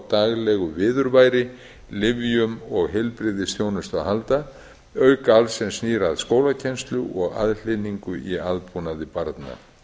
daglegu viðurværi lyfjum og heilbrigðisþjónustu að halda auk alls sem snýr að skólakennslu og aðhlynningu í aðbúnaði barna